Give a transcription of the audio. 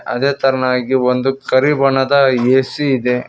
ಅದೇ ತರನಾಗಿ ಒಂದು ಕರಿ ಬಣ್ಣದ ಎ_ಸಿ ಇದೆ.